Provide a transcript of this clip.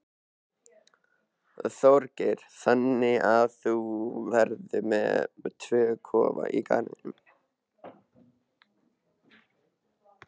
Þorgeir: Þannig að þú verður með tvo kofa í garðinum?